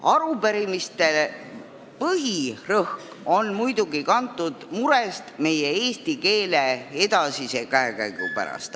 Arupärimised on muidugi kantud murest meie eesti keele edasise käekäigu pärast.